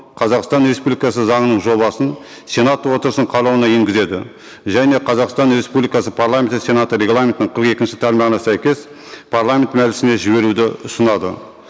қазақстан республикасы заңының жобасын сенат отырысының қарауына енгізеді және қазақстан республикасы парламенті сенаты регламентінің қырық екінші тармағына сәйкес парламент мәжілісіне жіберуді ұсынады